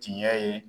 Tiɲɛ ye